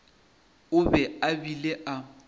o be a bile a